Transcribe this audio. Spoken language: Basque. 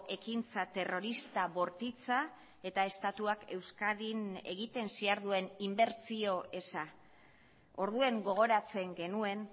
ekintza terrorista bortitza eta estatuak euskadin egiten ziharduen inbertsio eza orduan gogoratzen genuen